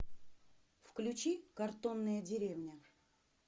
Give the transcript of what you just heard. включи картонная деревня